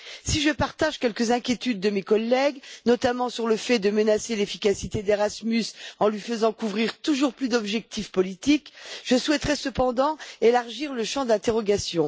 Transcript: Si je partage quelques inquiétudes de mes collègues, notamment sur le fait de menacer l'efficacité d'Erasmus en lui faisant couvrir toujours plus d'objectifs politiques, je souhaiterais cependant élargir le champ d'interrogation.